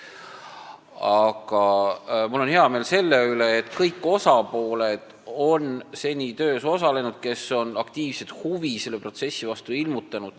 Aga mul on hea meel selle üle, et seni on töös osalenud kõik osapooled, kes on selle protsessi vastu aktiivset huvi ilmutanud.